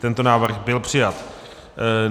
Tento návrh byl přijat.